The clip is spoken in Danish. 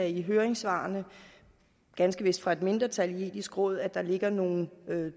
i høringssvarene ganske vist fra et mindretal i det etiske råd ligger nogle